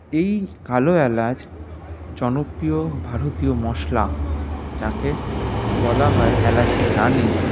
এই কালো এলাচ জনপ্রিয় ভারতীয় মশলা যাকে বলা হয় এলাচের রানী